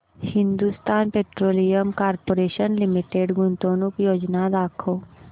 Hindustan petroleum corporation limited गुंतवणूक योजना दाखव